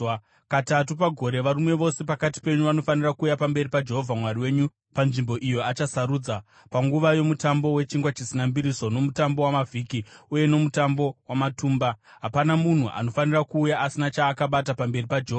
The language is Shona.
Katatu pagore varume vose pakati penyu vanofanira kuuya pamberi paJehovha Mwari wenyu panzvimbo iyo achasarudza: panguva yoMutambo weChingwa Chisina Mbiriso, noMutambo waMavhiki uye noMutambo waMatumba. Hapana munhu anofanira kuuya asina chaakabata pamberi paJehovha: